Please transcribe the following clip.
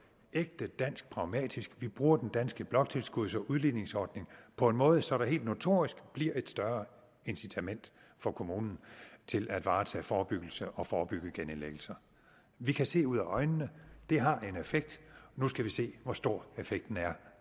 ægte dansk pragmatisk vi bruger den danske bloktilskuds og udligningsordning på en måde så der helt notorisk bliver et større incitament for kommunen til at varetage forebyggelse og forebygge genindlæggelser vi kan se ud af øjnene det har en effekt nu skal vi se hvor stor effekten er